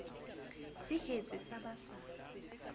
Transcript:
se hetse sa ba sa